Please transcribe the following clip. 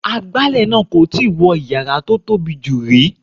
Agbálẹ̀ náà kò tíì wọ yàrá tó tóbi jù rí.